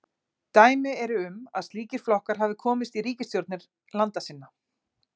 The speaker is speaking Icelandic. Dæmi eru um að slíkir flokkar hafi komist í ríkisstjórnir landa sinna.